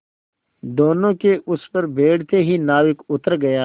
दोेनों के उस पर बैठते ही नाविक उतर गया